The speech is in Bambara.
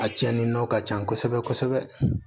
A cɛnni nɔ ka ca kosɛbɛ kosɛbɛ